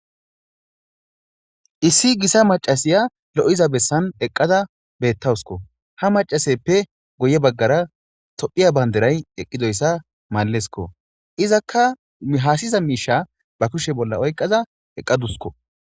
Issi githa maccasiya lo7iza bessan eqqada beeththawuskko; ha maccaseeppe guye baggaara toophiya banddiray eqqidoyssa malezko; izakka haasiza miishsha ba kushe bolla oyqqaza eqqaduskko.